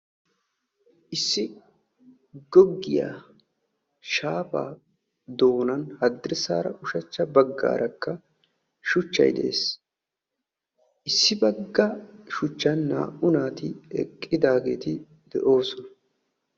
Issi goggiyaa shaafaa doonan haddirssaara ushachcha baggaarakka shuchchay de'ees. Issi bagga shuchchan naa"u naati eqqidaageeti de'oosona.